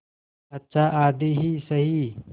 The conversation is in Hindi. अच्छा आधी ही सही